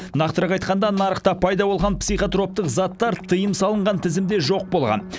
нақтырақ айтқанда нарықта пайда болған психотроптық заттар тыйым салынған тізімде жоқ болған